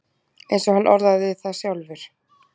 Eins og hann orðaði það sjálfur: